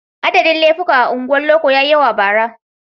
Adadin laifuka a unguwar loko ya yi yawa bara.